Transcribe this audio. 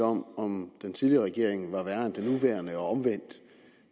om om den tidligere regering var værre end den nuværende og omvendt